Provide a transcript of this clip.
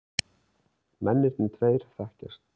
Mennirnir tveir þekkjast.